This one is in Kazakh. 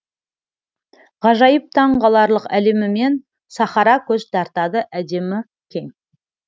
ғажайып таң қаларлық әлемімен сахара көз тартады әдемі кең